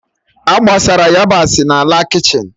A gbasara yabasị n'ala kichin